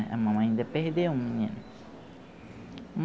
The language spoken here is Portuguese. A mamãe ainda perdeu um menino.